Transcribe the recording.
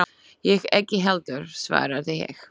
Ég ekki heldur, svaraði ég.